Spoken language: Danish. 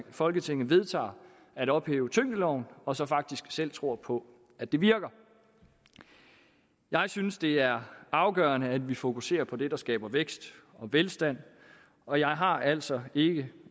folketinget vedtager at ophæve tyngdeloven og så faktisk selv tror på at det virker jeg synes det er afgørende at vi fokuserer på det der skaber vækst og velstand og jeg har altså ikke